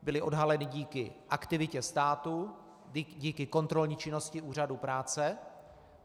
Byla odhalena díky aktivitě státu, díky kontrolní činnosti Úřadu práce.